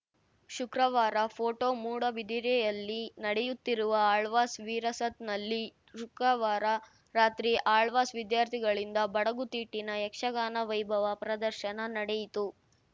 ಶುಕ್ರವಾರ ಫೋಟೋ ಮೂಡುಬಿದಿರೆಯಲ್ಲಿ ನಡೆಯುತ್ತಿರುವ ಆಳ್ವಾಸ್‌ ವಿರಸತ್‌ನಲ್ಲಿ ಶುಕ್ರವಾರ ರಾತ್ರಿ ಆಳ್ವಾಸ್‌ ವಿದ್ಯಾರ್ಥಿಗಳಿಂದ ಬಡಗುತಿಟ್ಟಿನ ಯಕ್ಷಗಾನ ವೈಭವ ಪ್ರದರ್ಶನ ನಡೆಯಿತು